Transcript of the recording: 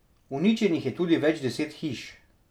Uničenih je tudi več deset hiš.